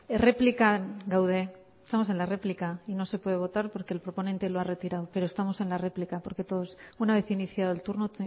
erreplikan gaude estamos en la réplica y no se puede votar porque el proponente lo ha retirado pero estamos en la réplica porque todos una vez iniciado el turno